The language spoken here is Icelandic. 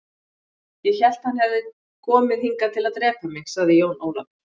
Ég hélt að hann hefði komið hingað til að drepa mig, sagði Jón Ólafur.